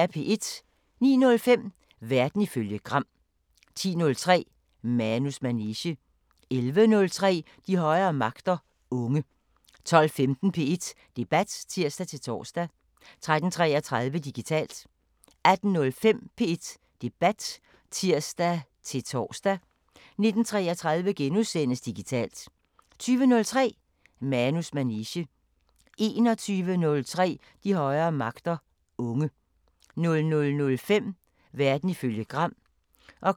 09:05: Verden ifølge Gram 10:03: Manus manege 11:03: De højere magter: Unge 12:15: P1 Debat (tir-tor) 13:33: Digitalt 18:05: P1 Debat (tir-tor) 19:33: Digitalt * 20:03: Manus manege 21:03: De højere magter: Unge 00:05: Verden ifølge Gram